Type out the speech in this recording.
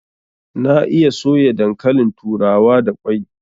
Na iya soya dankalin turawa da kwai